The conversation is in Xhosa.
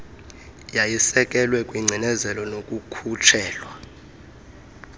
yayisekelwe kwingcinezelo nokukhutshelwa